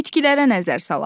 Bitkilərə nəzər salaq.